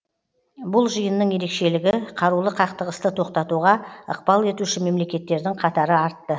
бұл жиынның ерекшелігі қарулы қақтығысты тоқтатуға ықпал етуші мемлекеттердің қатары артты